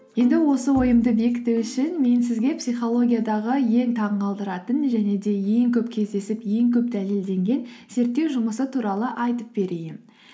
енді осы ойымды бекіту үшін мен сізге психологиядағы ең таңғалдыратын және де ең көп кездесіп ең көп дәлелденген зерттеу жұмысы туралы айтып берейін